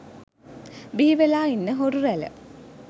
බිහිවෙලා ඉන්න හොරු රැල